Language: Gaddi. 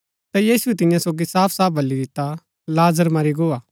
ता यीशुऐ तियां सोगी साफ साफ बली दिता लाजर मरी गो हा